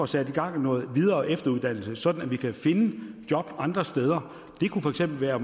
sat gang i noget videre og efteruddannelse sådan at vi kan finde job andre steder det kunne for eksempel være